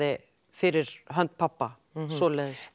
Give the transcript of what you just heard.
fyrir hönd pabba